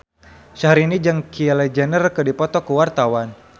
Syahrini jeung Kylie Jenner keur dipoto ku wartawan